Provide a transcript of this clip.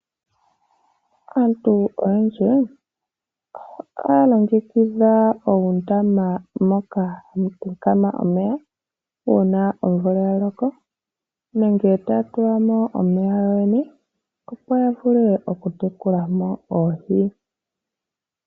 Aantu oyendji ohaya longekidha uundama moka hamu talama omeya uuna omvula ya loka, nenge ta ya tulamo omeya yoyene opo ya vule okutekula mo oohi.